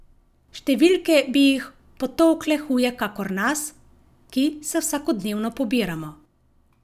Številke bi jih potolkle huje kakor nas, ki se vsakodnevno pobiramo.